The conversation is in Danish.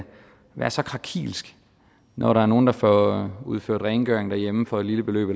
være så krakilsk når der er nogen der får udført rengøring derhjemme for et lille beløb